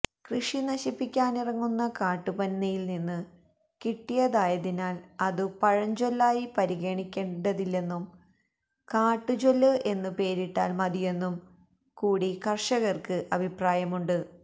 കൃഷി നശിപ്പിക്കാനിറങ്ങുന്ന കാട്ടുപന്നിയിൽനിന്നു കിട്ടിയതായതിനാൽ അതു പഴഞ്ചൊല്ലായി പരിഗണിക്കേണ്ടതില്ലെന്നും കാട്ടുചൊല്ല് എന്നു പേരിട്ടാൽ മതിയെന്നുംകൂടി കർഷകർക്ക് അഭിപ്രായമുണ്ട്